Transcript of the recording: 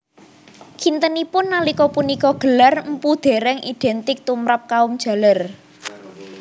Kintenipun nalika punika gelar mpu dereng identik tumrap kaum jaler